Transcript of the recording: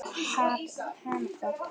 Þá verð ég við þeim.